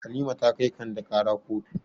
Halima ta kai Kande ƙara kotu.